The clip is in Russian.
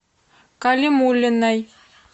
калимуллиной